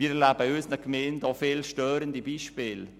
Ich erlebe in unseren Gemeinden viele störende Beispiele.